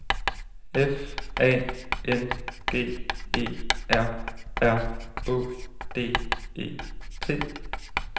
F A N G E R R Å D E T